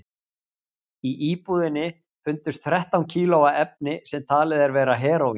Í íbúðinni fundust þrettán kíló af efni sem talið er vera heróín.